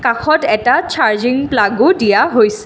কাষত এটা চাৰ্জিঙ প্লাগো দিয়া হৈছে।